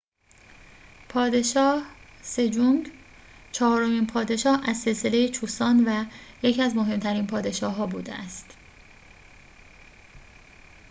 پادشاه سجونگ چهارمین پادشاه از سلسله چوسان و یکی از محترم‌ترین پادشاه‌ها بوده است